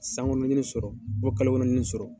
San kɔnɔ, n ye ni sɔrɔ, kalo kɔnɔ n ye ni sɔrɔ.